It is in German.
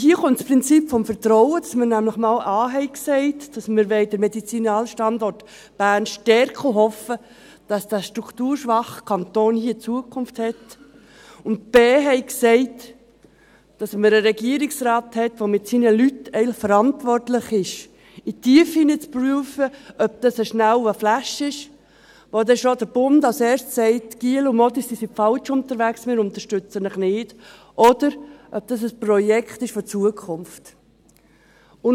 Hier kommt das Prinzip des Vertrauens, dass wir nämlich einmal A gesagt haben, dass wir den Medizinalstandort Bern stärken wollen und hoffen, dass der strukturschwache Kanton hier Zukunft hat, und dass wir B gesagt haben, weil wir einen Regierungsrat haben, der eigentlich mit seinen Leuten verantwortlich ist, in die Tiefen zu prüfen, ob dies ein schneller «Flash» ist, bei welchem der Bund als Erstes sagt: «Jungs und Mädchen, ihr seid falsch unterwegs, wir unterstützen euch nicht.» oder, ob dies ein Projekt für die Zukunft ist.